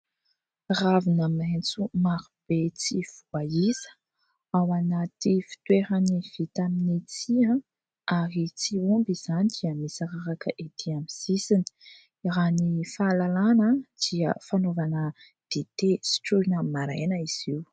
Ravina maitso maro be tsy voaisa ao anaty fitoerany vita amin'ny tsihy ary tsy omby izany dia misy raraka ety amin'ny sisiny ; raha ny fahalalàna dia fanaovana dite sotroina maraina izy io.